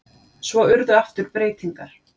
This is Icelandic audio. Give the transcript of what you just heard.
Svo urðu aftur breytingar.